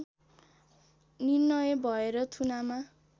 निर्णय भएर थुनामा